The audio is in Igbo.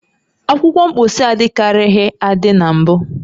Akwụkwọ mposi adịkarịghị adị na mbụ